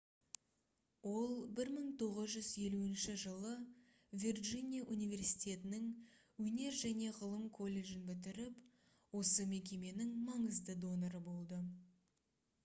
ол 1950 жылы вирджиния университетінің өнер және ғылым колледжін бітіріп осы мекеменің маңызды доноры болды